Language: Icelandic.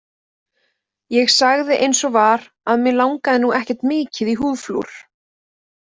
Ég sagði eins og var að mig langaði nú ekkert mikið í húðflúr.